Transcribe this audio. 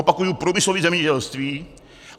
Opakuji - průmyslové zemědělství.